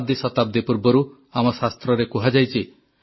ଶତାବ୍ଦୀ ଶତାବ୍ଦୀ ପୂର୍ବରୁ ଆମ ଶାସ୍ତ୍ରରେ କୁହାଯାଇଛି